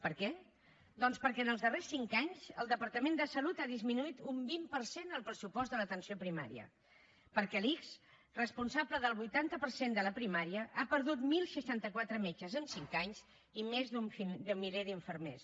per què doncs perquè en els darrers cinc anys el departament de salut ha disminuït un vint per cent el pressupost de l’atenció primària perquè l’ics responsable del vuitanta per cent de la primària ha perdut deu seixanta quatre metges en cinc anys i més d’un miler d’infermers